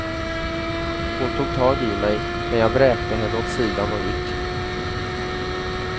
Hon tog tag i mig, men jag vräkte henne åt sidan och gick.